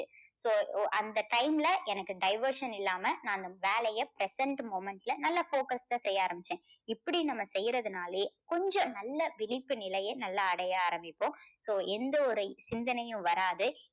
so ஒ~அந்த time ல எனக்கு diversion இல்லாம நான் வேலையை present moment ல நல்ல focused டா செய்ய ஆரம்பிச்சேன். இப்படி நம்ம செய்யுறதுனாலே கொஞ்சம் நல்ல விழிப்பு நிலையை நல்லா அடைய ஆரம்பிப்போம். so எந்த ஒரு சிந்தனையும் வராது.